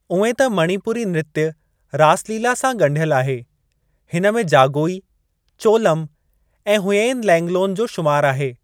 उएं त मणिपुरी नृत्‍य रास लीला सां गंढियलु आहे, हिनमें जागोई, चोलम ऐं हुयेन लैंगलोन जो शुमार आहे।